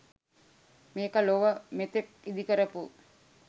මේක ලොව මෙතෙක් ඉදිකරපු